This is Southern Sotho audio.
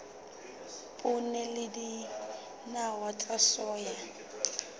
poone le dinawa tsa soya